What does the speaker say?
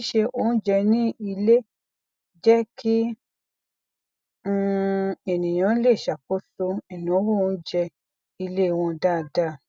ṣíṣe oúnjẹ ní ilé jẹ kí um ènìyàn lè ṣàkóso ináwó oúnjẹ ilé wọn dáadáa